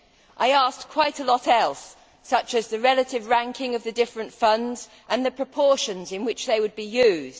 I asked quite a lot more, such as the relative ranking of the different funds and the proportions in which they would be used.